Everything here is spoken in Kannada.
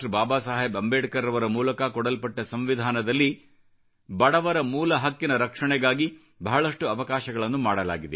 ಬಾಬಾ ಸಾಹೇಬ್ ಅಂಬೇಡ್ಕರ್ ರವರ ಮೂಲಕ ಕೊಡಲ್ಪಟ್ಟ ಸಂವಿಧಾನದಲ್ಲಿ ಬಡವರ ಮೂಲ ಹಕ್ಕಿನ ರಕ್ಷಣೆಗಾಗಿ ಬಹಳಷ್ಟು ಅವಕಾಶಗಳನ್ನು ಮಾಡಲಾಗಿದೆ